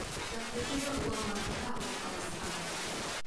штаб пәтері ұлан батырда орналасқан